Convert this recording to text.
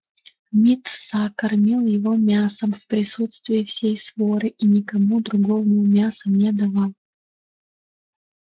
мит са кормил его мясом в присутствии всей своры и никому другому мяса не давал